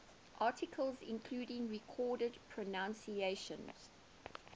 articles including recorded pronunciations